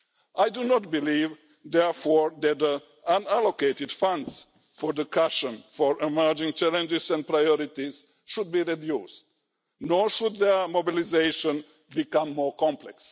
I do not believe, therefore, that unallocated funds for the cushion for emerging challenges and priorities should be reduced, nor should their mobilisation become more complex.